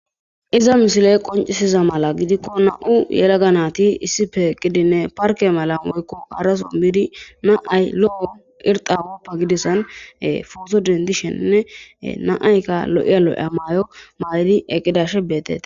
Iza misile qonccisida mala gidikko na7u yelaga naati issippe eqqidinne parkke malako woykko harasso bidi na7a irxxa woppa gidassan pooto denddishene na7aykka lo7iya lo7iya maayo mayidi eqqidashin beetetees.